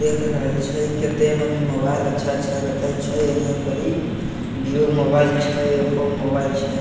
देख रहल छै कते मनी मोबाइल अच्छा-अच्छा रखल छै इने पर इ वीवो के मोबाइल छै ओप्पो के मोबाइल छै